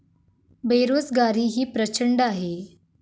बेरोजगारीही प्रचंड आहे.